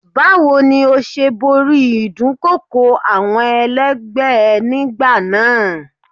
Báwo ni ó ṣe borí ìdúnkokò àwọn ẹlẹgbẹ́ ẹ nígbà náà?